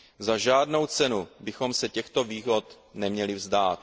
Za žádnou cenu bychom se těchto výhod neměli vzdát.